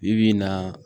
Bi bi in na